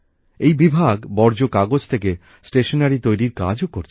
এই বিভাগ বর্জ্য কাগজ থেকে স্টেশনারি তৈরির কাজও করছে